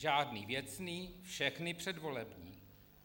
Žádný věcný, všechny předvolební.